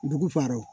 Dugu faaw